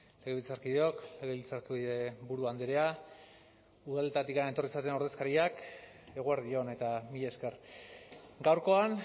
legebiltzarkideok legebiltzarburu andrea udaletatik etorri zareten ordezkariak eguerdi on eta mila esker gaurkoan